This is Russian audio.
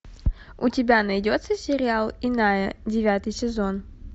у тебя найдется сериал иная девятый сезон